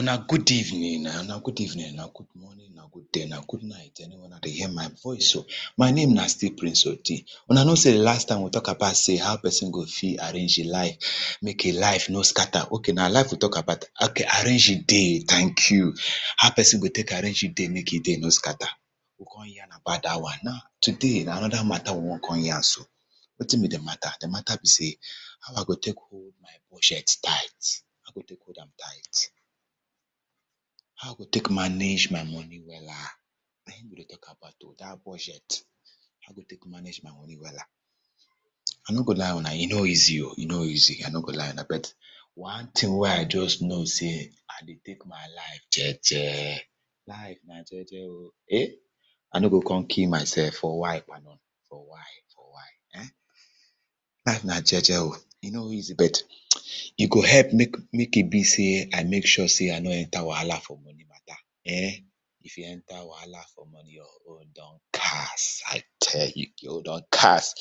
Una good evening, una good evening oh, una good day una good night, una dey hear my voice so, ma name na still prince Oti. Una know sey di last time we talk about sey how person go fit arrange im life, make im life no scatter, okay na life we talk about, okay arrange im day, thank you, how person go take arrange e day make e day no scatter. We don yarn dat one, okay na today na another matter we wan come yarn so, wetin be di matter di matter be sey how I go take hold my budget tight, hold am tight how I go take manage my money wella, na im we dey talk about oh, dat budget how we go manage our money wella, I no go lie una, e no easy oh, e no easy I no go lie una but one thing wey I just know sey I dey take my life jeje, life na jeje oh, I no go come kill myself for why, for why for why[um], life na jeje oh. E no easy but e go help make make e be sey I make sure sey I no enter wahala for money matter[um], if you enter wahala for money matter, you don cast I dey tell you, you r own don cast,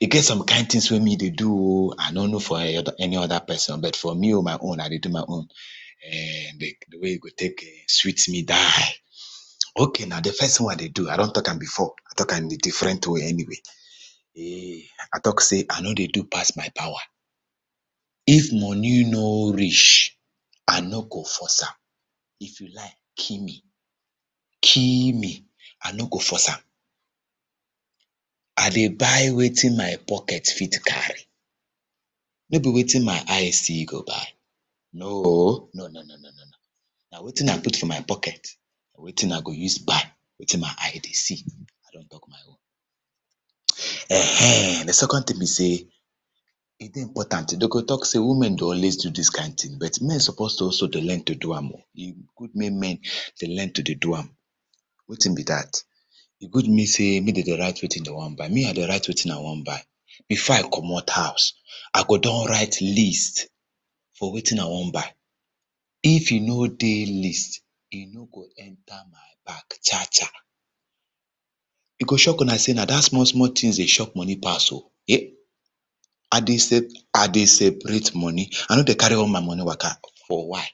e get some kind things wen me dey do oh, I nor know for any oda person but for me oh, I dey do my own [urn] di way e go take sweet me die, okay na di first thing I dey do, I don talk am before I talk am in different way, any way di, I talk sey I nor dey do pass my power, if money no reach I nor go force am, if you like kill me, kill me I nor go force am. I dey buy wetin my pocket fit carry no be wetin my eye see e go buy, no ho, no no no no no. na wetin I put for my pocket na wetin I go use buy, wetin my eye dey see I no go buy, ehen di second thing be sey, e dey important dem dey talk sey women dey like do dis kind thing, but men also suppose learn to do am na, e good make men dey learn to dey do am, wetin be dat? E good sey make dem dey write wetin dem wan buy, me I dey write wetin I wan buy, before I go komot house, I go don write list for wetin I wan buy, if e no dey list, e no go enter my bag sha sha, e go chock una sey na dat kind small small things dey chop money pass oh, eh, I dey sep, I dey separate I nor dey carry all my money waka, for why,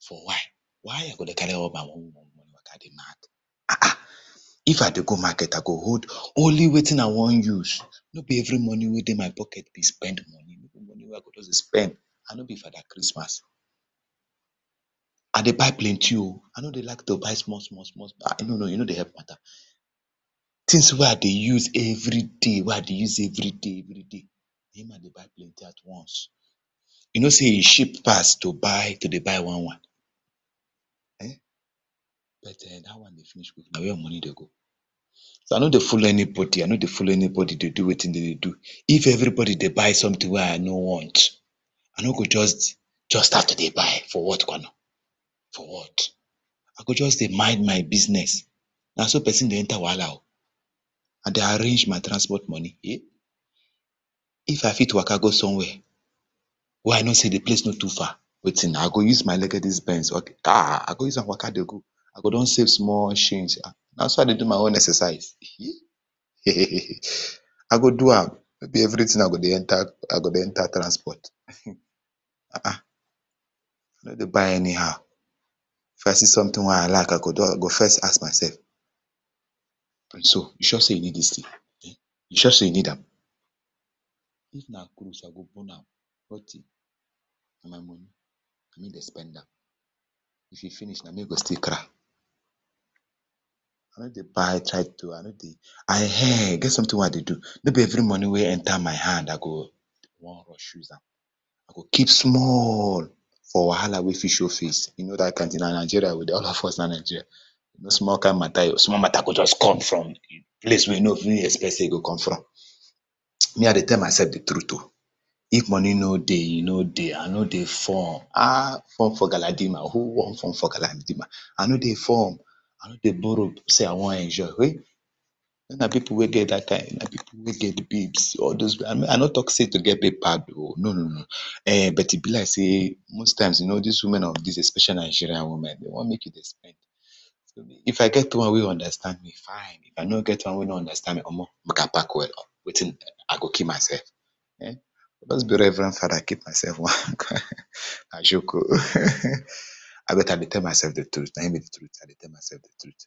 for why, why I go dey carry all my money dey waka, I dey mah, ahn ahn, if I dey go maket, I go hold only wetin I wan use, nor be every money we dey my pocket be spend money oh, money wey dey spend I no be father Christmas. I dey buy plenty oh, I nor dey like buy small small small no no e no dey help matter, things wey I dey use every day, wey I dey use every day every day na im I dey buy plenty at once, you know sey e cheap pass to buy to dey buy one one, [2] so I no dey follow anybody I no dey follow anybody dey do wetin dem dey do, if anybody dey something wey I no want, I no go just, just start to dey buy for what kwanu? For what? I go just dey mind my business, na so person dey enter wahala oh, I dey arrange my transport money eh, if I fit waka go somewhere wey I know sey di place no too far wetin na I go use my legedis benz, i go ah, I go use am waka dey go, I go don save small change, na so I dey do my own exercise, hehehe, I go do am no be everything I go enter I go dey enter transport, ahn ahn, I no dey buy anyhow, if I see something wey I like, I go first ask myself, so you sure sey you need dis thing? You sure sey you need am? If na clothes I go, [2] na my money, I nor dey spend am if e finish na me go still cry, I no dey buy, I no dey ehen, e get something wey I dey do, no be every money wey enter my hand I go want misuse am. I go keep small for wahala wey fit show face, you know dat kind thing na Nigeria we dey, all of us na Nigeria, any small thing one kind matter, one kind small matter go fit come from place wey you no expect sey e go fit come from. Me I dey tell myself di truth oh, if money no dey e no dey, I no dey form, form for Galadima who I wan form for Galadima, I no form I no dey borrow sey I wan enjoy, na people wey get dat time, na people wey get babes all doz, I no talk sey to get babe bad oh, no no no but most times e be like sey dis women of dis days especially Nigerian women dem want make you dey spend for dem, if I get di one wey understand me fine, if I no get di one wey understand me, omor make I park well oh, wetin I go kill myself, just be reverend father I go keep myself one corner, na joke oh, but I dey tell myself di truth, I dey tell myself di truth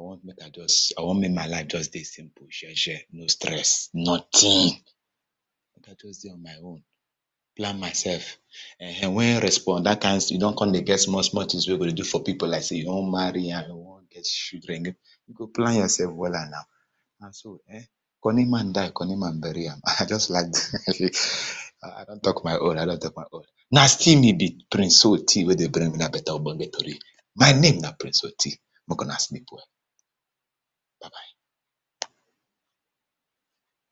I want make my life just dey simple jeje, no stress, no nothing I just dey on my own, plan myself, wen e respond dat kind thing I don come dey get small small things wey go dey do you marry, sey you wan get children you go plan yourself wella na, na so[um], kunny man die, kunny man bury am I just like, I don talk my own, I don talk my own, na still me be prince Oti wey dey bring una better correct ogbonge story, na name na prince Oti, make una sleep oh, bye bye.